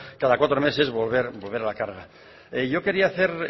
cada cuatro meses volver a la carga yo quería hacer